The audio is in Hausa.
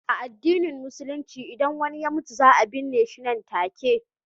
A addinin Musulunci, idan wani ya mutu, za a binne shi nan take.